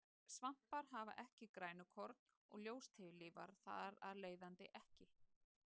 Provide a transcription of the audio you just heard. Svampar hafa ekki grænukorn og ljóstillífa þar af leiðandi ekki.